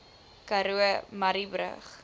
karoo murrayburg